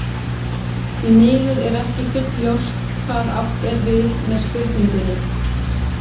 Því miður er ekki fullljóst hvað átt er við með spurningunni.